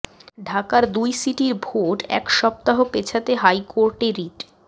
ঢাকার দুই সিটির ভোট এক সপ্তাহ পেছাতে হাইকোর্টে রিট